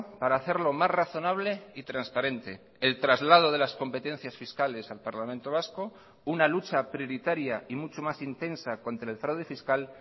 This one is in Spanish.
para hacerlo más razonable y transparente el traslado de las competencias fiscales al parlamento vasco una lucha prioritaria y mucho más intensa contra el fraude fiscal